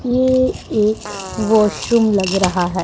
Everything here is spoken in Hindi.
ये एक वॉशरूम लग रहा है।